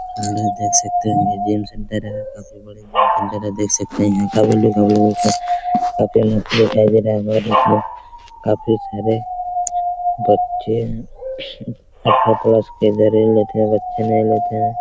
हम लोग देख सकते हैं सुन्दर हैं काफी बड़े अंदर देख सकते हैं में प्लेट हैं काफी सारे बच्चे हैं। अठरह प्लस --